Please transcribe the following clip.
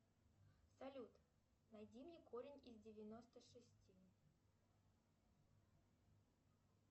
салют найди мне корень из девяносто шести